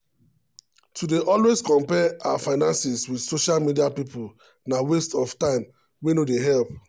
to dey always compare her finances with social media people na waste of time wey no dey help.